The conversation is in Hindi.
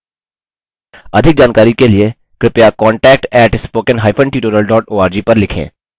अधिक जानकारी के लिए कृपया contact @spokentutorial org पर लिखें